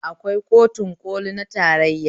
Akwai kotun ƙoli na tarayya